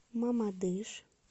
мамадыш